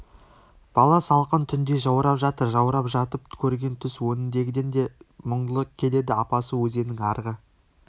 бала салқын түнде жаурап жатыр жаурап жатып көрген түс өңіндегіден де мұңлы келеді апасы өзеннің арғы